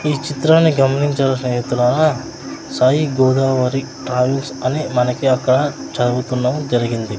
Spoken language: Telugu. ఈ చిత్రాన్ని గమనించిన స్నేహితులారా సాయి గోదావరి ట్రావెల్స్ అని మనకి అక్కడ చదువుతున్నవ్ జరిగింది.